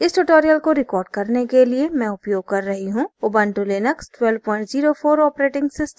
इस tutorial को record करने के लिए मैं उपयोग कर रही हूँ ऊबुंटू लिनक्स 1204 os